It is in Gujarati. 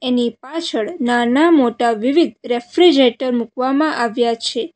એની પાછળ નાના મોટા વિવિધ રેફ્રિજરેટર મૂકવામાં આવ્યા છે.